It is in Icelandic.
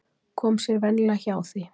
Kom sér venjulega hjá því.